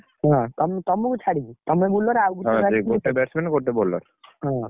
ହଁ ତମ୍~ ତମକୁ ଛାଡିକି ତମେ bowler ହଁ।